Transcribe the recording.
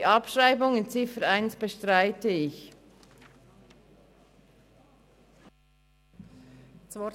Die Abschreibung der Ziffer 1 bestreite ich.